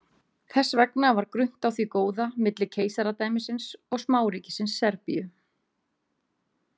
Þess vegna var grunnt á því góða milli keisaradæmisins og smáríkisins Serbíu.